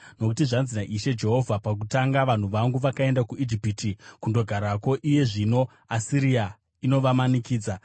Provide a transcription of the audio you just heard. Nokuti zvanzi naIshe Jehovha, “Pakutanga vanhu vangu vakaenda kuIjipiti kundogarako; iye zvino Asiria inovamanikidza.